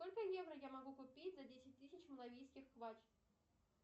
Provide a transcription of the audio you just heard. сколько евро я могу купить за десять тысяч малавийских квач